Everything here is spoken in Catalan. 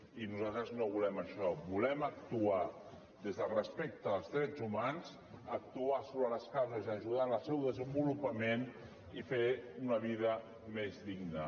i nosaltres no volem això volem actuar des del respecte als drets humans actuar sobre les causes i ajudar en el seu desenvolupament i fer una vida més digna